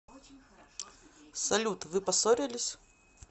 салют вы поссорились